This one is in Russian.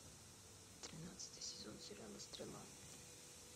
тринадцатый сезон сериала стрела